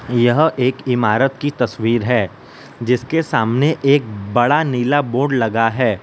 यह एक इमारत की तस्वीर है जिसके सामने एक बड़ा नीला बोर्ड लगा है।